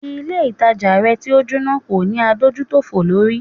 Ilé ìtajà rẹ̀ tí o Jóná kò ní adójútòfò lórí.